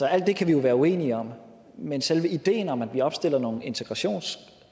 alt det kan vi jo være uenige om men selve ideen om at vi opstiller nogle integrationskrav